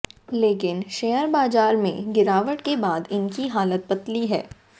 लेकिन शेयर बाजार में गिरावट के बाद इनकी हालत पतली है